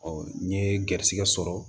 n ye garizɛgɛ sɔrɔ